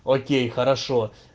окей хорошо